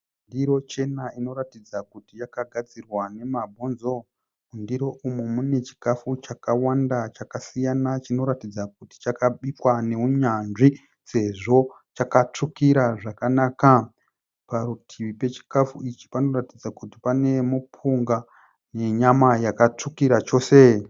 Ndiro chena inoratidza kuti yakagadzirwa namabhonzo. Mundiro umu mune chikafu chakawanda chakasiyana chinoratidza kuti chakabikwa nounyanzvi sezvo chakatsvukira zvakanaka. Parutivi pechikafu ichi panoratidza kuti pane mupunga nenyama yakatsvukira chose.